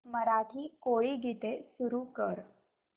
मराठी कोळी गीते सुरू कर